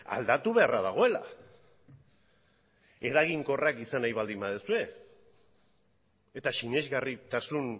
aldatu beharra dagoela eraginkorrak izan nahi baldin baduzue eta sinesgarritasun